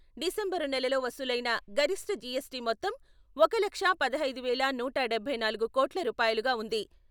December నెలలో వసూలైన గరిష్ఠ జీఎస్టీ మొత్తం ఒక లక్షా పదహైదు వేల నూట డభై నాలుగు కోట్ల రూపాయలుగా ఉంది.